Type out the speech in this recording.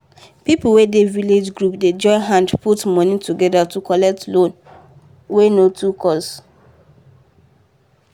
people wey dey village group dey join hand put money together to collect loan wey no too cost.